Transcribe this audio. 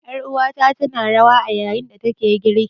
Ƴar uwata tana rawa a yayin da take girki.